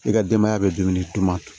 I ka denbaya bɛ dumuni to